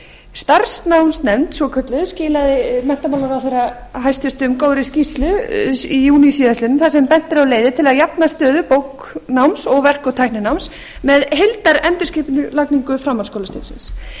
starfsnámsnefnd svokölluð skilaði menntamálaráðherra hæstvirtur góðri skýrslu í júní síðastliðnum þar sem bent er á leiðir til að jafna stöðu bóknáms og verk og tæknináms með heildarendurskipulagningu framhaldsskólastigsins